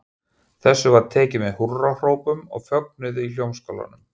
Þessu var tekið með húrrahrópum og fögnuði í Hljómskálanum.